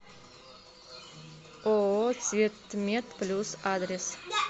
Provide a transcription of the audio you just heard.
ооо цветметплюс адрес